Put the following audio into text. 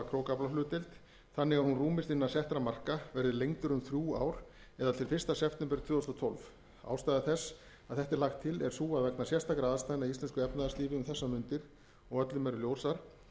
krókaflahlutdeild þannig að hún rúmist innan settra marka verði lengdur um þrjú ár eða til fyrsta september tvö þúsund og tólf ástæða þess að þetta er lagt til er sú að vegna sérstakra aðstæðna í íslensku efnahagslífi um þessar mundir og öllum eru ljósar